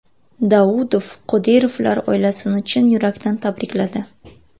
Daudov Qodirovlar oilasini chin yurakdan tabrikladi.